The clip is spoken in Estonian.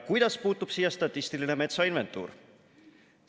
Kuidas puutub siia statistiline metsainventuur?